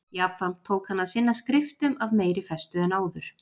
Jafnframt tók hann að sinna skriftum af meiri festu en áður.